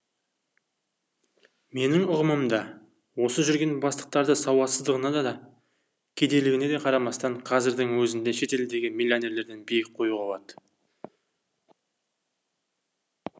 менің ұғымымда осы жүрген бастықтарды сауатсыздығында да кедейлігіне де қарамастан қазірдің өзінде шетелдегі миллионерлерден биік қоюға болады